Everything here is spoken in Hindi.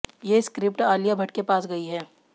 ये स्क्रिप्ट आलिया भट्ट के पास गई है